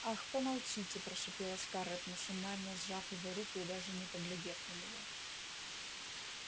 ах помолчите прошипела скарлетт машинально сжав его руку и даже не поглядев на него